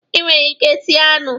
Ị nwere ike sie anụ.